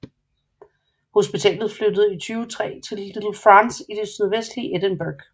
Hospitalet flyttede i 2003 til Little France i det sydvestlige Edinburgh